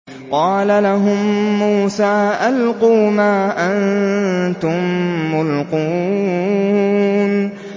قَالَ لَهُم مُّوسَىٰ أَلْقُوا مَا أَنتُم مُّلْقُونَ